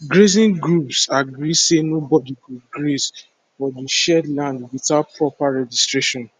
grazing groups agree say nobody go graze for the shared land without proper registration